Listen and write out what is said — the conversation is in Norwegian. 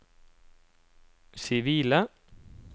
sivile